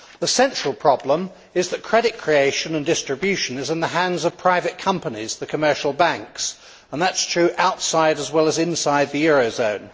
The central problem is that credit creation and distribution is in the hands of private companies the commercial banks and that is true outside, as well as inside, the eurozone.